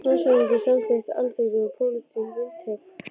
LANDSHÖFÐINGI: Samþykkt Alþingis var pólitískt vindhögg!